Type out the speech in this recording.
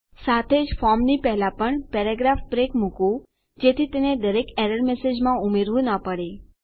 સાથે જફોર્મની પહેલા પણ પેરાગ્રાફ બ્રેક મુકું જેથી તેને દરેક એરર મેસેજમાં ઉમેરવું ન પડે